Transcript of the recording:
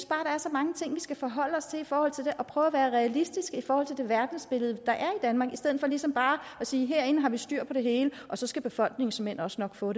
der er så mange ting vi skal forholde os til i forhold til skal prøve at være realistiske i forhold til det verdensbillede der er i danmark i stedet for ligesom bare at sige at herinde har vi styr på det hele og så skal befolkningen såmænd også nok få